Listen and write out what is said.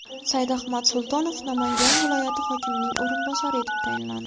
Saidahmad Sultanov Namangan viloyati hokimining o‘rinbosari etib tayinlandi.